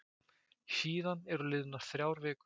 Síðan eru liðnar þrjár vikur.